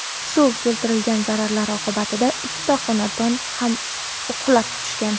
Suv keltirgan zarar oqibatida ikkita xonadon ham qulab tushgan.